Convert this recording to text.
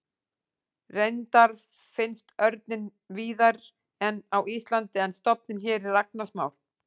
Reyndar finnst örninn víðari en á Íslandi en stofninn hér er agnarsmár.